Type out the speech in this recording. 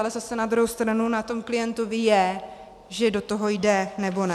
Ale zase na druhé straně na tom klientovi je, že do toho jde, nebo ne.